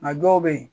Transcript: Nka dɔw bɛ yen